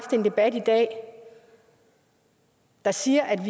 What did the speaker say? en debat i dag der siger